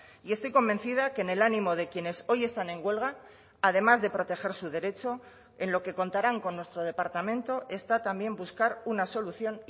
y estoy convencida que en el ánimo de quienes hoy están en huelga además de proteger su derecho en lo que contarán con nuestro departamento está también buscar una solución